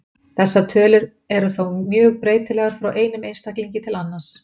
Þessar tölur eru þó mjög breytilegar frá einum einstaklingi til annars.